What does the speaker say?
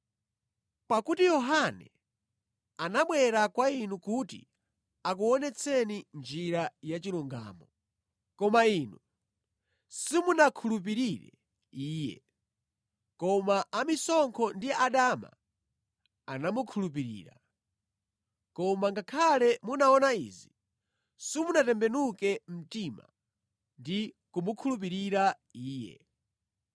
Pakuti Yohane anabwera kwa inu kuti akuonetseni njira yachilungamo, koma inu simunakhulupirire iye, koma amisonkho ndi adama anamukhulupirira. Koma ngakhale munaona izi, simunatembenuke mtima ndi kumukhulupirira iye.